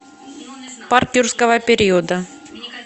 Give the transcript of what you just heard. парк юрского периода